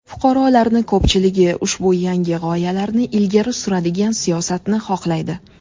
Fuqarolarni ko‘pchiligi ushbu yangi g‘oyalarni ilgari suradigan siyosatni xohlaydi.